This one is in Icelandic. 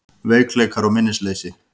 Veikleikar og minnisleysi